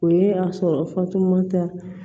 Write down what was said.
O ye a sɔrɔ fatumata